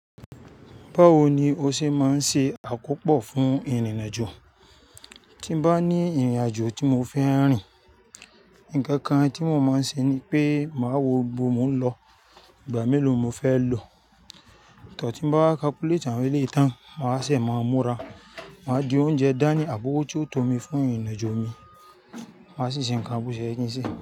Báwo ni o ṣe máa ń ṣe àkópọ̀ fún ìrìnàjò? Tí bá ní ìrìnàjò tí mo fẹ́ rìn, ǹkan kan tí mo máa ń ṣe ni pé màá wo ibo mo ń lọ, ìgbà mélòó mo fẹ́ lò, tor, ti bá n wa calculate àwọn iléyi tan, màá ṣẹ̀ wá maa múra, màá di oúnjẹ dání àbi ọ́wọ́ tí ó tó mi fún ìrìnàjò mi, màá sì ṣe ǹkan bo sẹ́ ye kí n ṣe.